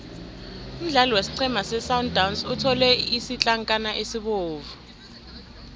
umdlali wesiqhema sesundowns uthole isitlankana esibovu